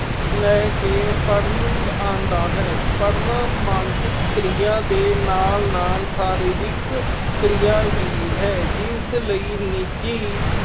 ਲੈ ਕੇ ਪੜ੍ਹਨਾ ਆਂਦਾ ਹੈ। ਪੜ੍ਹਨਾ ਮਾਨਸਿਕ ਕਿਰਿਆ ਦੇ ਨਾਲ-ਨਾਲ ਸਰੀਰਕ ਕਿਰਿਆ ਵੀ ਹੈ ਜਿਸ ਲਈ ਨਿੱਜੀ